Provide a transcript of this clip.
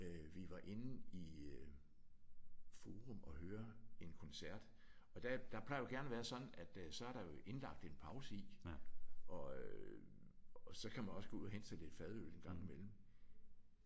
Øh vi var inde i øh Forum og høre en koncert og der der plejer det jo gerne at være sådan at så er der jo indlagt en pause i og øh og så kan man også gå ud og hente sig lidt fadøl en gang imellem